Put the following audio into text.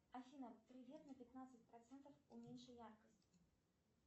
афина привет на пятнадцать процентов уменьши яркость